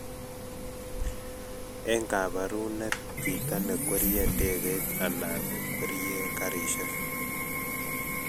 Eng' kabarunet chito nekwerie ndegeit anan nekwerie garishek